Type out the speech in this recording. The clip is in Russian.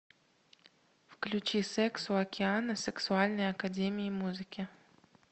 включи секс у океана сексуальной академии музыки